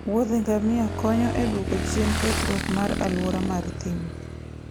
wuothe ngamia konyo e dwoko chien kethruok mar alwora mar thim.